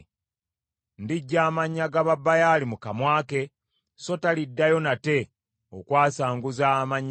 Ndiggya amannya ga Babaali mu kamwa ke, so taliddayo nate okwasanguza amannya gaabwe.